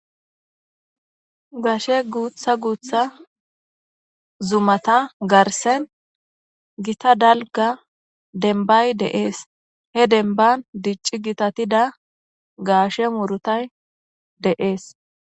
Gashe guutha guutha zumata garsen gita dalgga dembbay de7ees. He dembban dicci gitatida gaashe murutay de7ees.